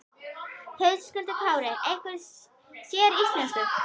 Höskuldur Kári: Einhverju séríslensku?